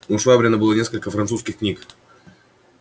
у швабрина было несколько французских книг